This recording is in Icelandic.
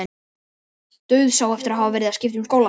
Dauðsá eftir að hafa verið að skipta um skóla.